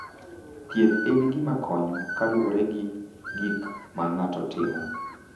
Thieth en gima konyo kaluwore gi gik ma ng’ato timo.